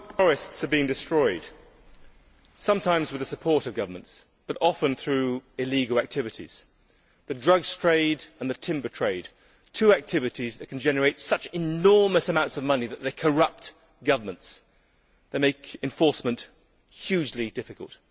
Mr President, the world's forests are being destroyed sometimes with the support of governments, but often through illegal activities. The drugs trade and the timber trade are two activities that can generate such enormous amounts of money that they corrupt governments, which makes enforcement hugely difficult.